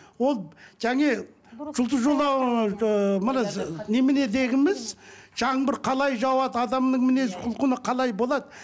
ол және жұлдыз ыыы мына немене жаңбыр қалай жауады адамның мінез құлқыны қалай болады